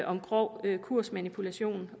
om grov kursmanipulation